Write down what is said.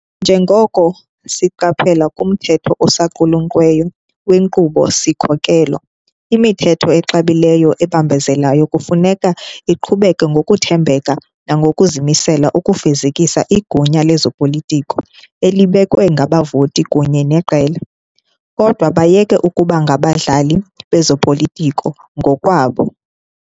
Njengoko siqaphela kumthetho osaqulunqweyo wenkqubo-sikhokelo, "imithetho exabileyo ebambezelayo kufuneka iqhubeke ngokuthembeka nangokuzimisela ukufezekisa igunya lezopolitiko elibekwe ngabavoti kunye neqela, kodwa bayeke ukuba ngabadlali bezopolitiko ngokwabo."